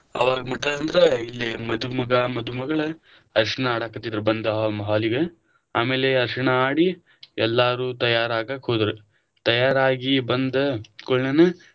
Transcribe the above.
ಅವಾಗ ಮಠ ಅಂದ್ರ ಇಲ್ಲೆ ಮಧುಮಗ ಮಧುಮಗಳ ಅರಿಶಿನ ಆಡಕತಿದ್ರ ಬಂದ hall ಲಿಗ, ಆಮೇಲೆ ಅರಿಶಿಣ ಆಡಿ ಎಲ್ಲರೂ ತಯಾರಗಾಕ ಹೋದ್ರ, ತಯಾರಾಗಿ ಬಂದ ಕೂಡ್ಲೆನ.